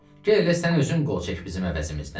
Gəl elə sən özün qol çək bizim əvəzimizdən.